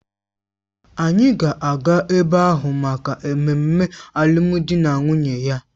Anyị ga-aga ebe ahụ maka mmemme alụmdi na nwunye ya